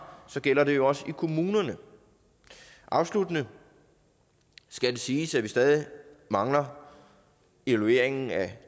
gælder det jo også i kommunerne afsluttende skal det siges at vi stadig mangler evalueringen af